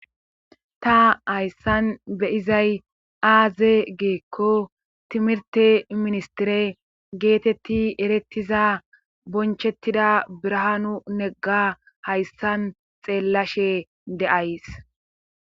ta hayssan be'izay aaze gikko timirte ministire geetetti erettiza bonchettida birahaanu negga hayssan xeellashe de'ays